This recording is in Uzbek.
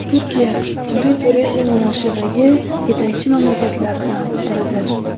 Turkiya – tibbiy turizm yo‘nalishidagi yetakchi mamlakatlardan biridir.